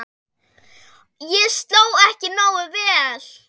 Ég sló ekki nógu vel.